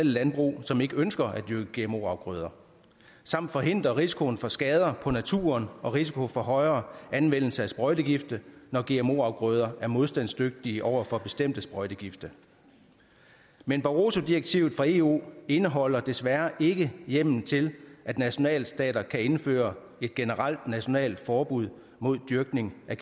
landbrug som ikke ønsker at dyrke gmo afgrøder samt forhindre risikoen for skader på naturen og risikoen for højere anvendelse af sprøjtegifte når gmo afgrøder er modstandsdygtige over for bestemte sprøjtegifte men barroso direktivet fra eu indeholder desværre ikke hjemmel til at nationalstater kan indføre et generelt nationalt forbud mod dyrkning af